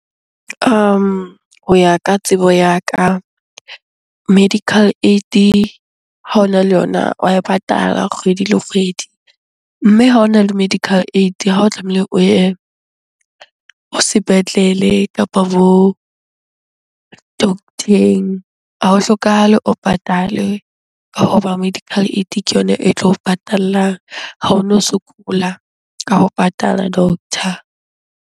Ho ya ka tsebo ya ka, medical aid ha ona le yona wa e patala kgwedi le kgwedi. Mme ha ona le medical aid ha o tlamehile o ye sepetlele kapa bo doctor-eng. Ha ho hlokahale o patale ka hoba medical aid ke yona e tlo patallang. Ha ono sokola ka ho patala doctor.